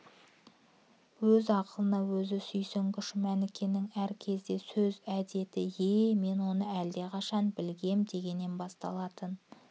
өз ақылына өзі сүйсінгіш мәнікенің әр кезде сөз әдеті е-е мен оны әлдеқашан білгем дегеннен басталатын